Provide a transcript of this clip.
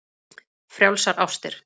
Frjálsar ástir.